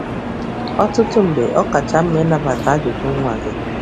Ọtụtụ mgbe, ọ kacha mma ịnabata ajụjụ nwa gị.